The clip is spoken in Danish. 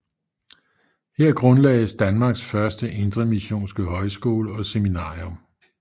Her grundlagdes Danmarks første indremissionske højskole og seminarium